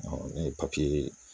ne ye papiye